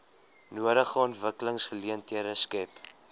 nodige ontwikkelingsgeleenthede skep